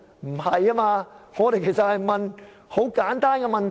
不是的，我們所問的其實是很簡單的問題。